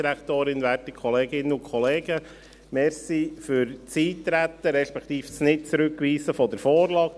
Vielen Dank für das Eintreten, respektive das Nichtzurückweisen der Vorlage.